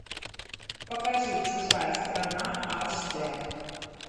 покажи чужая страна аш д